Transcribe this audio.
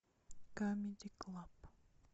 камеди клаб